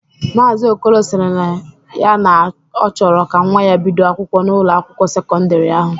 Maazi Okolo sịrị ya na ọ chọrọ ka nwa ya bido akwụkwọ n'Ụlọ akwụkwọ sekọndrị ahu.